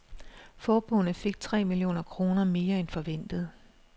Forbundet fik tre millioner kroner mere end forventet.